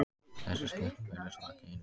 Þessi skipting virðist þó ekki einhlít.